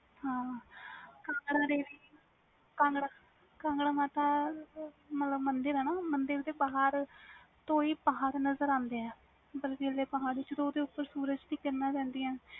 ਹਾਂ ਹਾਂ ਕਾਂਗੜਾ ਦੇਵੀ ਕਾਂਗੜਾ ਮਾਤਾ ਮਤਬਲ ਮੰਦਿਰ ਆ ਮੰਦਿਰ ਦੇ ਪਹਾੜ ਤੋਂ ਪਹਾੜ ਨਜ਼ਰ ਆਂਦੇ ਆ ਜਦੋ ਸੂਰਜ ਦੀ ਕਿਰਨਾਂ ਪੈਦੀਆਂ